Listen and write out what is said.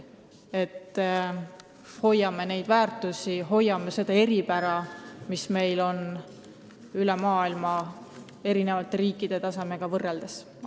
Hoiame neid väärtusi ja hoiame seda eripära, mis meil on teiste maailma riikidega võrreldes.